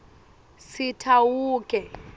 sitawuke